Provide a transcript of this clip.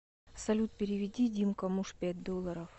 салют переведи димка муж пять долларов